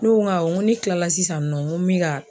Ne ko n ko awɔ n ko ne kila la sisan nɔ n ko n bɛ ka